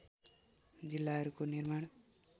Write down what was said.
जिल्लाहरूको निर्माण